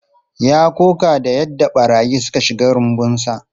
Ya koka da yadda barayi suka shiga rumbunsa.